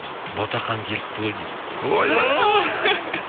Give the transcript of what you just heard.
ботақан келіпті ғой дейді ойбай